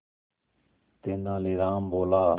तेनालीराम बोला